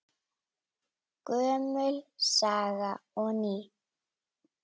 Gömul saga og ný.